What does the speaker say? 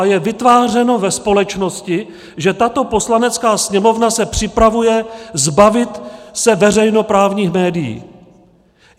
A je vytvářeno ve společnosti, že tato Poslanecká sněmovna se připravuje zbavit se veřejnoprávních médií.